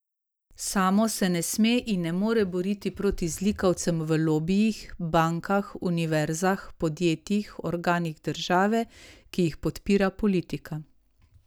Samo se ne sme in ne more boriti proti zlikovcem v lobijih, bankah, univerzah, podjetjih, organih države, ki jih podpira politika.